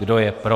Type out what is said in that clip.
Kdo je pro?